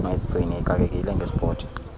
mayizigcine ixakekile ngesport